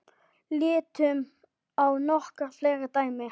Lítum á nokkur fleiri dæmi.